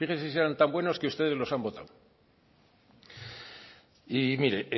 fíjese si eran tan buenos que ustedes los han votado y mire